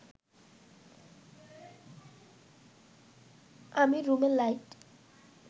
আমি রুমের লাইট